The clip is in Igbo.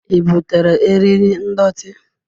Ị butere eriri ndọtị?